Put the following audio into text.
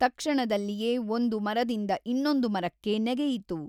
ತಕ್ಷಣದಲ್ಲಿಯೇ ಒಂದು ಮರದಿಂದ ಇನ್ನೊಂದು ಮರಕ್ಕೆ ನೆಗೆಯಿತು.